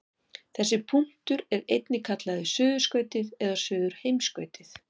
Þessi punktur er einnig kallaður suðurskautið eða suðurheimskautið.